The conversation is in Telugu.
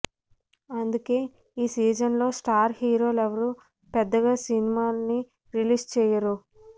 అందుకే ఈ సీజన్లో స్టార్ హీరోలెవరూ పెద్దగా సినిమాల్ని రిలీజ్ చేయరు